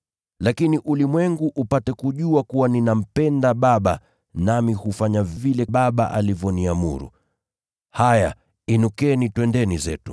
lakini ulimwengu upate kujua kuwa ninampenda Baba, nami hufanya vile Baba alivyoniamuru. “Haya inukeni; twendeni zetu.